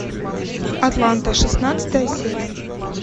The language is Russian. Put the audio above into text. атланта шестнадцатая серия